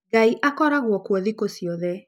Ngai ikoragwo kuo thikũ ciothe